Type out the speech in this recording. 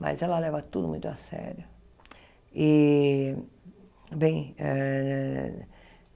Mas ela leva tudo muito a sério. E bem eh